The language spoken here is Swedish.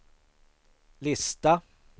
lista